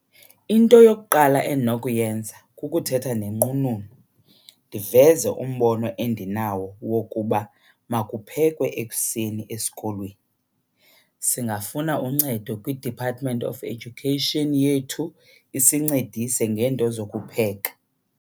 Into yokuqala endinokuyenza kukuthetha nenqununu ndiveze umbono endinawo wokuba makuphekwe ekuseni esikolweni. Singafunda uncedo kwiDepartment of Education yethu isincedise ngeento zokupheka.